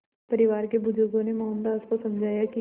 परिवार के बुज़ुर्गों ने मोहनदास को समझाया कि